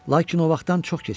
Lakin o vaxtdan çox keçmişdi.